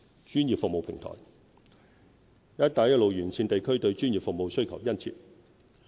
專業服務平台"一帶一路"沿線地區對專業服務需求殷切。